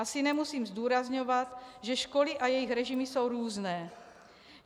Asi nemusím zdůrazňovat, že školy a jejich režimy jsou různé.